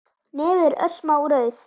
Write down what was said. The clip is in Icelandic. Nefið er örsmá rauð